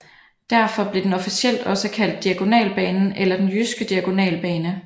Derfor blev den officielt også kaldt Diagonalbanen eller Den jyske diagonalbane